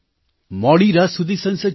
મોડી રાત સુધી સંસદ ચાલી